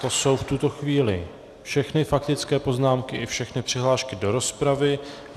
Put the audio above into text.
To jsou v tuto chvíli všechny faktické poznámky i všechny přihlášky do rozpravy.